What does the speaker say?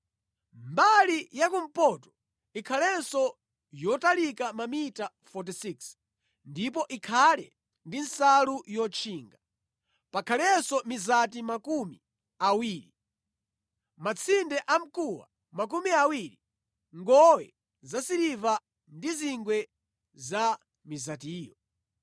Mbali yakumpoto ikhalenso yotalika mamita 46 ndipo ikhale ndi nsalu yotchinga. Pakhalenso mizati makumi awiri, matsinde amkuwa makumi awiri, ngowe zasiliva ndi zingwe za mizatiyo.